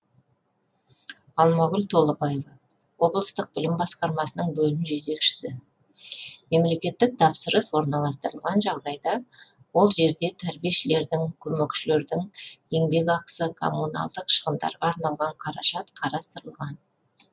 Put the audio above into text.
алмагүл толыбаева облыстық білім басқармасының бөлім жетекшісі мемлекеттік тапсырыс орналастырылған жағдайда ол жерде тәрбиешілердің көмекшілердің еңбекақысы коммуналдық шығындарға арналған қаражат қарастырылған